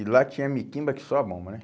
E lá tinha miquimba que só a bomba, né?